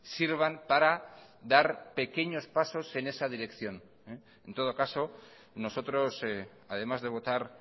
sirvan para dar pequeños pasos en esa dirección en todo caso nosotros además de votar